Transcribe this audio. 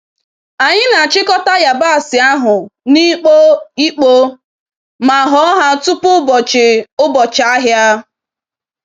Anyi n'achịkọta yabasị ahụ n'ikpo ikpo ma họ ha tutu ụbọchị ụbọchị ahịa.